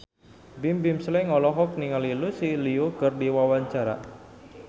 Bimbim Slank olohok ningali Lucy Liu keur diwawancara